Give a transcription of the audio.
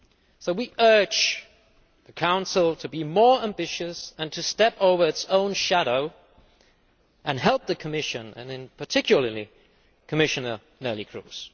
So we urge the Council to be more ambitious and to step over its own shadow and help the Commission and, in particular, Commissioner Neelie Kroes.